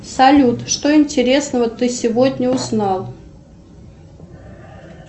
салют что интересного ты сегодня узнал